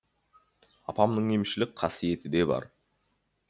апамның емшілік қасиеті де бар